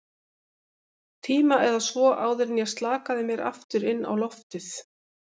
tíma eða svo, áður en ég slakaði mér aftur inn á loftið.